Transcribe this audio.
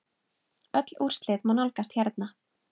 Öll úrslit má nálgast hérna.